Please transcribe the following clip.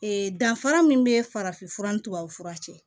danfara min bɛ farafin fura ni tubabu fura cɛ